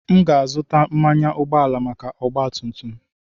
M ga-azụta mmanụ ụgbọala maka ọgba tum tum.